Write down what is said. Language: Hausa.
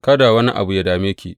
Kada wannan abu yă dame ki.